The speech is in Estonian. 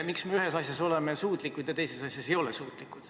Miks me ühes asjas oleme suutlikud ja teises asjas ei ole?